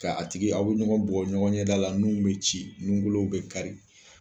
Ka a tigi aw bɛ ɲɔgɔn bugɔ ɲɔgɔn ɲɛda la nun bɛ ci nun kolo bɛ kari.